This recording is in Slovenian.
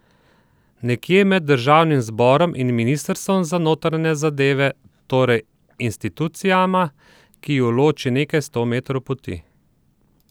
Nekje med državnim zborom in ministrstvom za notranje zadeve, torej institucijama, ki ju loči nekaj sto metrov poti.